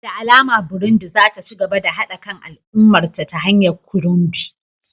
Da alama Burundi za ta ci gaba da haɗa kan al'ummarta ta hanyar Kirundi